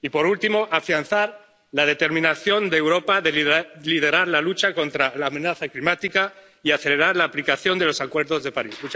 Y, por último, afianzar la determinación de Europa de liderar la lucha contra la amenaza climática y acelerar la aplicación de los Acuerdos de París.